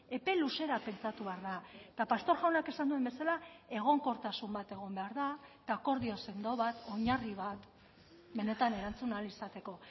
epe luzera pentsatu behar da eta pastor jaunak esan duen bezala egonkortasun bat egon behar da eta akordio sendo bat oinarri bat benetan erantzun ahal izateko